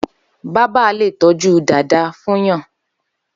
Bàbà lé tọjú dàdàá fùnyàn